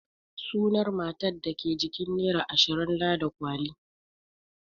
Sunan matar da ke jikin nera ashirin Ladi kwali.